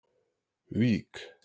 Vík